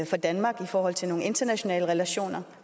for danmark i forhold til nogle internationale relationer